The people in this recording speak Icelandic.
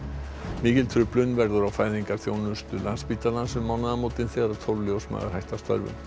mikil truflun verður á fæðingarþjónustu Landspítalans um mánaðamótin þegar tólf ljósmæður hætta störfum